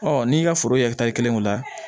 n'i y'i ka foro ye kelen ko la